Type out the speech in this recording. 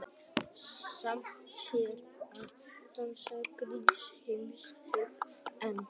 Samt sem áður dafnaði grísk heimspeki enn.